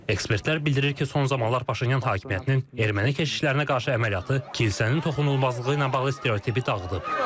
Ekspertlər bildirir ki, son zamanlar Paşinyan hakimiyyətinin erməni keşişlərinə qarşı əməliyyatı kilsənin toxunulmazlığı ilə bağlı stereotipi dağıdıb.